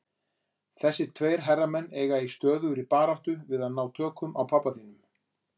Þessir tveir herramenn eiga í stöðugri baráttu við að ná tökum á pabba þínum.